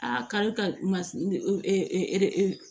A kari ka ma